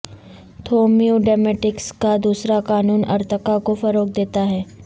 تھومیوڈیمیٹکس کا دوسرا قانون ارتقاء کو فروغ دیتا ہے